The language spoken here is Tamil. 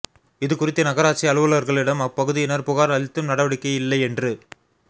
இதுகுறித்து நகராட்சி அலுவலா்களிடம் அப்பகுதியினா் புகாா் அளித்தும் நடவடிக்கை இல்லை என்று